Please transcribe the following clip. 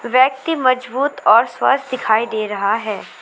व्यक्ति मजबूत और स्वस्थ दिखाई दे रहा है।